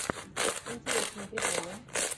интересные приколы